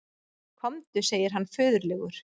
Komdu, segir hann föðurlegur.